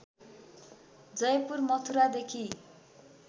Jaipur मथुरादेखि